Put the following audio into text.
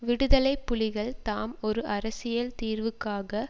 விடுதலை புலிகள் தாம் ஒரு அரசியல் தீர்வுக்காக